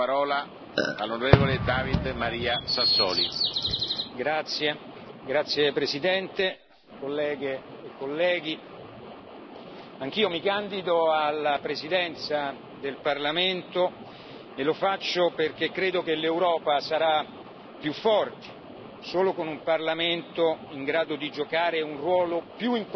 Signor Presidente, onorevoli colleghi, anch'io mi candido alla presidenza del Parlamento e lo faccio perché credo che l'Europa sarà più forte solo con un Parlamento in grado di giocare un ruolo più importante.